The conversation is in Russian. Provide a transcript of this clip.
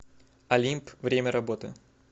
олимп время работы